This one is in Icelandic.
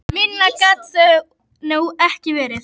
Minna gat það nú ekki verið.